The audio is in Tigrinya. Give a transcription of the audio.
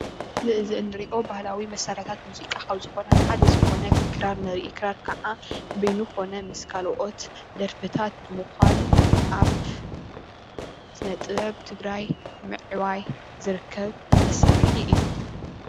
እዚ እንሪኦ ባህላዊ መሳርሕታት ሙዚቃ ካብ ዝኮኑ ሓደ ዝኮነ ክራር ንርኢ ክራር ከዓ በይኑ ኮነ ምስ ካልኦት ደርፍታት ብሙኳን ኣብ ስነ ጥበብ ትግራይ ምዕባይ ዝርከብ መሳርሒ እዩ።